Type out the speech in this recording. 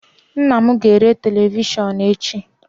Nnam ga-ere televishionum echi